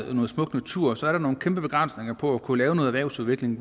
er noget smukt natur så er der nogle kæmpe begrænsninger på at kunne lave noget erhvervsudvikling